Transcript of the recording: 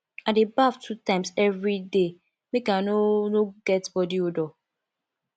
i dey baff two times everyday make i no no get bodi odour